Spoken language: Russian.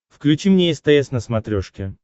включи мне стс на смотрешке